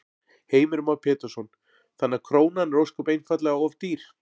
Heimir Már Pétursson: Þannig að krónan er ósköp einfaldlega of dýr?